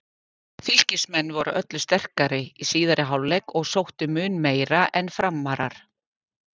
Fylkismenn voru öllu sterkari í síðari hálfleik og sóttu mun meira en FRAMARAR.